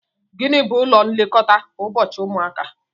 Gịnị bú ụlọ nlekọta ụbọchị ụmụaka?